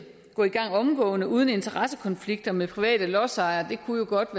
gå i gang omgående uden interessekonflikter med private lodsejere jo godt